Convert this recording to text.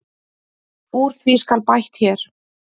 Úr því skal bætt hér.